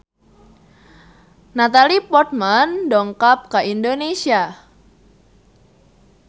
Natalie Portman dongkap ka Indonesia